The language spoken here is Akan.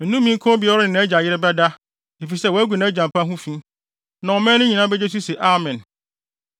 “Nnome nka obiara a ɔne nʼagya yere bɛda, efisɛ wagu nʼagya mpa ho fi.” Na ɔman no nyinaa begye so se, “Amen!”